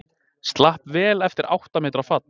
Slapp vel eftir átta metra fall